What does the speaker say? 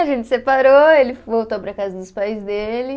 A gente separou, ele voltou para a casa dos pais dele.